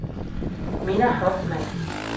Minna Hoffmann